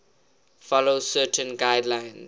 follow certain guidelines